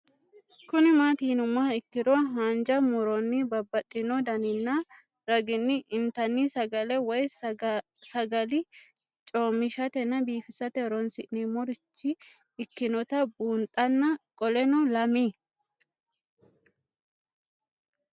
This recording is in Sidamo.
Kuni mati yinumoha ikiro hanja muroni babaxino daninina ragini intani sagale woyi sagali comishatenna bifisate horonsine'morich ikinota bunxana qoleno lame?